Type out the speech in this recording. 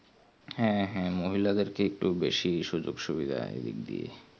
হ্যাঁ হ্যাঁ মহিলাদেরকে একটু সুযোগ সুবিধা এই দিকে দিয়ে